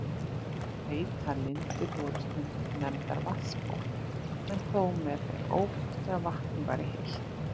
Heitar lindir voru stundum nefndar vatnsból, en þó með þeim ókosti að vatnið væri heitt.